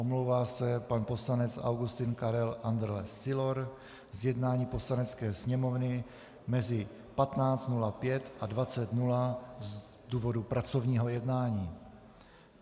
Omlouvá se pan poslanec Augustin Karel Andrle Sylor z jednání Poslanecké sněmovny mezi 15.05 a 20.00 z důvodu pracovního jednání.